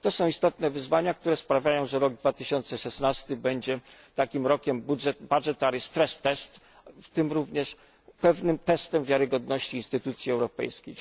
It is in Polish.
To są istotne wyzwania, które sprawiają, że rok 2016 będzie takim rokiem budgetary stress test w tym również pewnym testem wiarygodności instytucji europejskich.